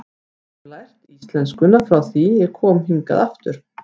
Ég hef lært íslenskuna frá því ég kom hingað aftur.